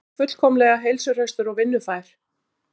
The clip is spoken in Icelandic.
Ert þú fullkomlega heilsuhraustur og vinnufær?